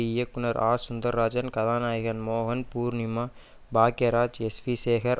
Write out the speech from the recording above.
இயக்குனர் ஆ சுந்தர்ராஜன் கதாநாயகன் மோகன் பூர்ணிமா பாக்யராஜ் எஸ்வி சேகர்